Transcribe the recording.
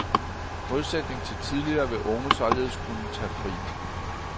I modsætning til tidligere vil unge således kunne tage fri.